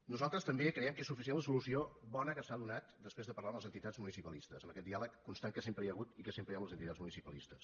nosaltres també creiem que és suficient la solució bona que s’ha donat després de parlar amb les entitats municipalistes amb aquest diàleg constant que sempre hi ha hagut i que sempre hi ha amb les entitats municipalistes